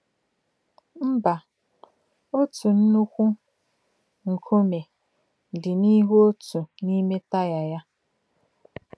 Mba, otu nnukwu nkume dị n’ihu otu n’ime taya ya.